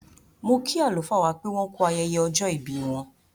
Mo kí àlùfáà wá pé wọ́n kú ayẹyẹ ọjọ́ ìbí wọ́n.